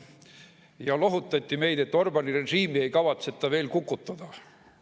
Ja lohutati meid, et Orbáni režiimi ei kavatseta veel kukutada.